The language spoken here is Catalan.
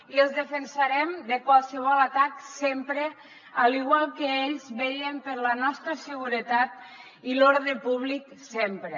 i els defensarem de qualsevol atac sempre igual que ells vetllen per la nostra seguretat i l’ordre públic sempre